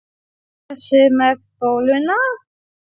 Þessi með bóluna?